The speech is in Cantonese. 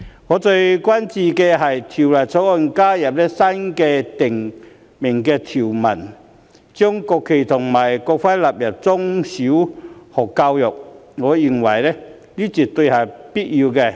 我最關注的是，《條例草案》加入新訂條文，將國旗及國徽納入中小學教育，我認為這絕對是有必要的。